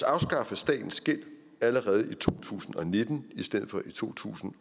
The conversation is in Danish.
afskaffe statens gæld allerede i to tusind og nitten i stedet for i to tusind